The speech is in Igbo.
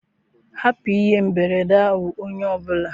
Hapụ ihe mberede ahụ, onye ọ bụla!